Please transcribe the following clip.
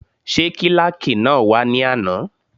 Ṣé kílàkì náà wá ní àná?